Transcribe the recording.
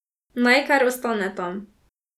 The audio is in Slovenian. Naj kar ostane tam.